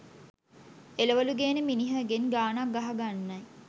එළවළු ගේන මිනිහගෙන් ගානක්‌ ගහගන්නයි.